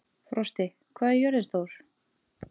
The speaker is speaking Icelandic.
Frosti, hvað er jörðin stór?